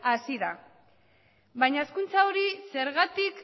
hasi da baina hazkuntza hori zergatik